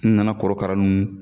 N nana kɔrɔkara nunnu